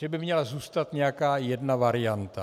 Že byl měla zůstat nějaká jedna varianta.